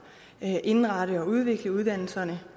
at indrette og udvikle uddannelserne